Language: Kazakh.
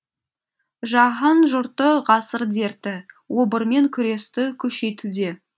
жаһан жұрты ғасыр дерті обырмен күресті күшейтуде